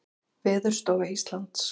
Veðurstofa Íslands.